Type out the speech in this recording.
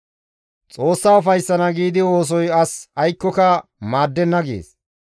‹Xoossa ufayssana giidi oosoy as aykkoka maaddenna› gees.